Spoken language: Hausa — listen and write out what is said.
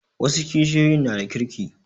Wasu kishiyoyin na da kirki